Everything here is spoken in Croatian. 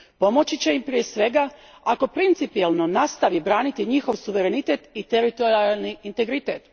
Pomoći će im prije svega ako principijelno nastavi braniti njihov suverenitet i teritorijalni integritet.